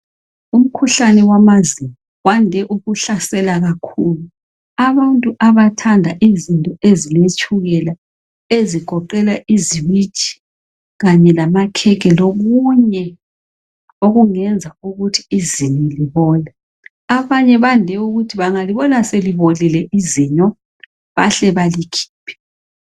umkhuhlane wamazinyo wande ukuhlasela kakhulu abantu abathanda izinto ezile tshukela ezigoqela iziwiji kanye lamakhekhe lokunye okungenza ukuthi izinyo libole abanye bande ukuthi bangalibona selibolile izinyo bahle balikhiphe